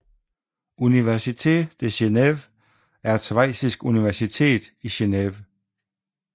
Université de Genève er et schweizisk universitet i Genève